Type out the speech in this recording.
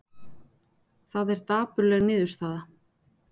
Það er dapurleg niðurstaða